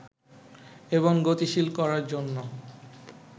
এবং গতিশীল করার জন্য